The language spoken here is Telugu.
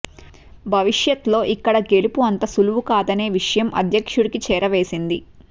భవిష్యత్లో ఇక్కడ గెలుపు అంత సులువు కాదనే విషయం అధ్యక్షుడికి చేరవేసింది